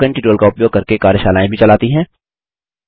spoken tutorial का उपयोग करके कार्यशालाएँ भी चलाती हैं